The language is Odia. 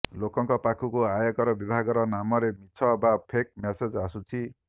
ଲୋକଙ୍କ ପାଖକୁ ଆୟକର ବିଭାଗର ନାମରେ ମିଛ ବା ଫେକ୍ ମେସେଜ୍ ଆସୁଛି